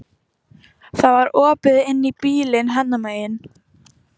Það var opið inn í bílinn hennar megin.